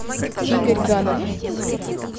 игорь ганов